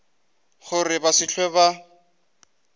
gore ba se hlwe ba